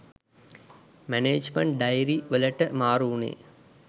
management diary වලට මාරු උනේ